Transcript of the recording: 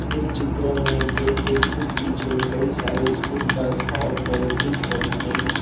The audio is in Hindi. इस चित्र में गेट के ठीक पीछे कई सारे स्कूल बस और वैन दिख रही हैं।